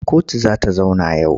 Kotu za ta zauna yau.